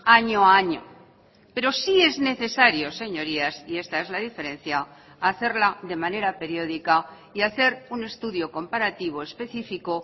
año a año pero sí es necesario señorías y esta es la diferencia hacerla de manera periódica y hacer un estudio comparativo específico